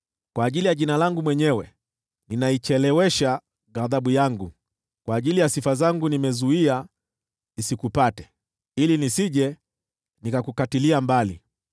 Kwa ajili ya Jina langu mwenyewe ninaichelewesha ghadhabu yangu, kwa ajili ya sifa zangu nimeizuia isikupate, ili nisije nikakukatilia mbali.